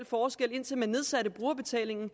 forskel indtil man nedsatte brugerbetalingen